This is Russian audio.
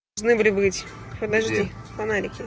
жны были быть подожди фонарики